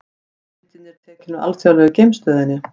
Myndin er tekin úr Alþjóðlegu geimstöðinni.